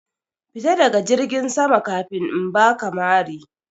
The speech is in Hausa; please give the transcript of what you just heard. Fita daga jirgin sama kafin in baka mari!